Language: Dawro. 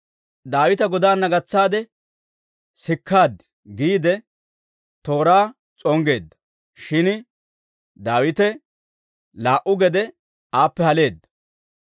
«Daawita godaana gatsaade sikkaad» giide tooraa s'onggeedda. Shin Daawite laa"u geedde aappe haleedda.